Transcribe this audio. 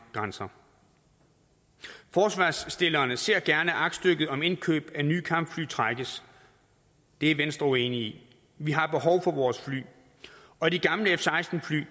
grænser forslagsstillerne ser gerne at aktstykket om indkøb af nye kampfly trækkes det er venstre uenig i vi har behov for vores fly og de gamle f seksten fly